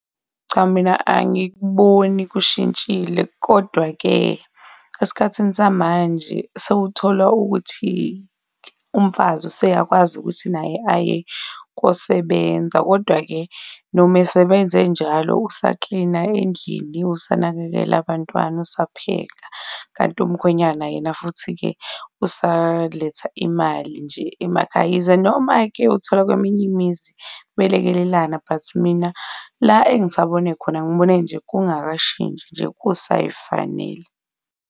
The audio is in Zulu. Cha mina angikuboni kushintshile, kodwa-ke esikhathini samanje sewuthola ukuthi umfazi useyakwazi ukuthi naye aye kosebenza. Kodwa-ke noma esebenza enjalo usaklina endlini, usanakekela abantwana, usapheka, kanti umkhwenyana yena futhi-ke usaletha imali nje emakhaya. Yize noma-ke uthola kweminye imizi belekelelana but mina la engisabone khona, ngibone nje kungakashintshi nje kusayifanela.